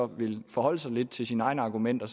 ville forholde sig lidt til sine egne argumenter